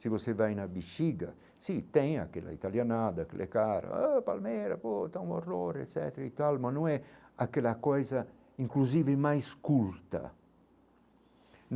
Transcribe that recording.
Se você vai na bexiga, sim, tem aquela italianada, aquele cara, oh palmeira, pô, está um horror, etc., e tal, mas não é aquela coisa inclusive mais culta.